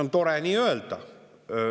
" On tore nii öelda.